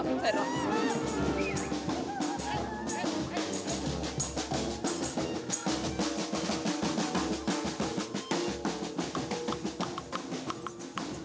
við